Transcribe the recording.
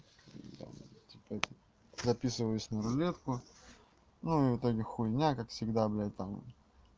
типа записываюсь на рулетку ну и в итоге хуйня как всегда блядь там